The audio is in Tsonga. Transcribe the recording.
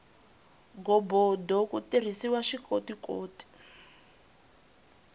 ghobodo ku tirhisiwa swikotikoti